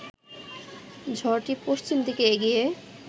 ঝড়টি পশ্চিম দিকে এগিয়ে